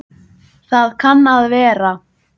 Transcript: Það kann að vera